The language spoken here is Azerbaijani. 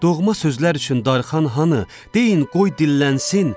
Doğma sözlər üçün darıxan hanı, deyin qoy dillənsin.